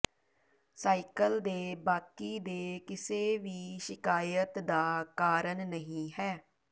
cycle ਦੇ ਬਾਕੀ ਦੇ ਕਿਸੇ ਵੀ ਸ਼ਿਕਾਇਤ ਦਾ ਕਾਰਨ ਨਹੀ ਹੈ